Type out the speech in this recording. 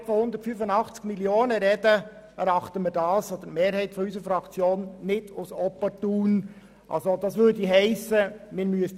Das erachtet die Mehrheit unserer Fraktion gegenwärtig nicht als opportun, zumal wir nun über ein EP von 185 Mio. Franken sprechen.